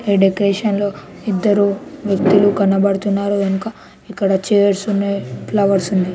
ఈ డెకరేషన్ లో ఇద్దరు వ్యక్తులు కనబడుతున్నారు ఇక్కడ చైర్స్ ఉన్నాయి ఫ్లవర్స్ ఉన్నాయి